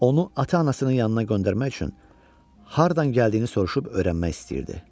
Onu ata-anasının yanına göndərmək üçün hardan gəldiyini soruşub öyrənmək istəyirdi.